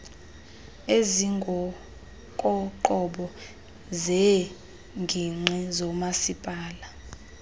ezingokoqobo zeengingqi zomasipala